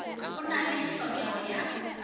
a na le hlokego ya